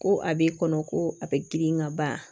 Ko a bɛ kɔnɔ ko a bɛ girin ka ban